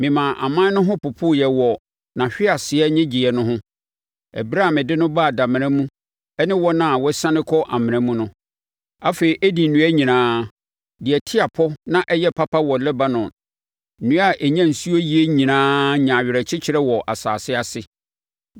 Memaa aman no ho popoeɛ wɔ nʼahweaseɛ nnyegyeeɛ no ho, ɛberɛ a mede no baa damena mu ɛne wɔn a wɔasiane kɔ amena mu no. Afei Eden nnua nyinaa, deɛ ɛte apɔ na ɛyɛ papa wɔ Lebanon, nnua a ɛnya nsuo yie nyinaa nyaa awerɛkyekyerɛ wɔ asase ase.